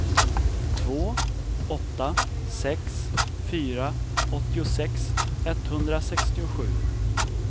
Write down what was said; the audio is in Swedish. två åtta sex fyra åttiosex etthundrasextiosju